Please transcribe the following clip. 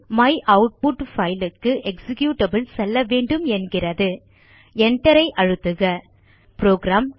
my output file க்கு executable செல்லவேண்டும் என்கிறது Enter ஐ அழுத்துக புரோகிராம்